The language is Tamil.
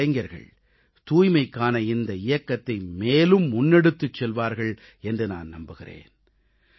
நமது இளைஞர்கள் தூய்மைக்கான இந்த இயக்கத்தை மேலும் முன்னெடுத்துச் செல்வார்கள் என்று நான் நம்புகிறேன்